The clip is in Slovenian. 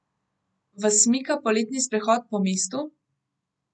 Vas mika poletni sprehod po mestu?